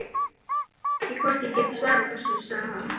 Ég veit ekki hvort ég get svarað þessu, sagði hann.